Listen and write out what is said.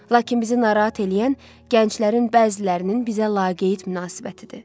Lakin bizi narahat eləyən gənclərin bəzilərinin bizə laqeyd münasibətidir.